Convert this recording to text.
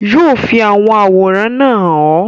yóò fi àwọn àwòrán náà hàn ọ́.